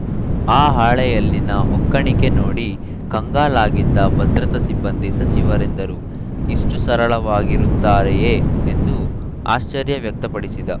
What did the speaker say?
ಆ ಹಾಳೆಯಲ್ಲಿನ ಒಕ್ಕಣಿಕೆ ನೋಡಿ ಕಂಗಾಲಾಗಿದ್ದ ಭದ್ರತಾ ಸಿಬ್ಬಂದಿ ಸಚಿವರೆಂದರು ಇಷ್ಟುಸರಳವಾಗಿರುತ್ತಾರೆಯೇ ಎಂದು ಆಶ್ಚರ್ಯ ವ್ಯಕ್ತಪಡಿಸಿದ್ದ